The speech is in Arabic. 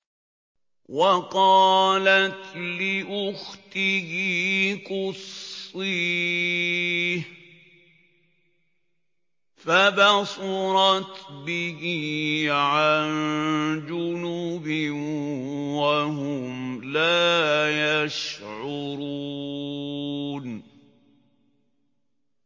وَقَالَتْ لِأُخْتِهِ قُصِّيهِ ۖ فَبَصُرَتْ بِهِ عَن جُنُبٍ وَهُمْ لَا يَشْعُرُونَ